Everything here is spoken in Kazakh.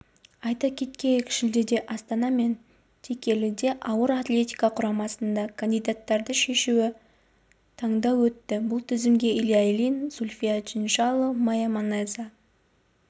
айта кеткейік шілдеде астана мен текеліде ауыр атлетика құрамасына кандидаттарды шешуі таңдау өтті бұл тізімге илья ильин зульфия чиншанло майя манеза